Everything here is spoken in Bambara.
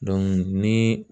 ni